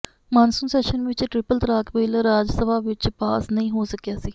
monsoon session ਵਿਚ triple talaq bill Rajya Sabha ਵਿਚ pass ਨਹੀਂ ਹੋ ਸਕਿਆ ਸੀ